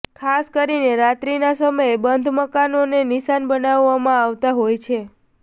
ખાસ કરીને રાત્રીના સમયે બંધ મકાનોને નિશાન બનાવવામાં આવતાં હોય છે